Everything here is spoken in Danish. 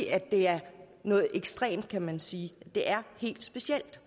er noget ekstremt kan man sige det er helt specielt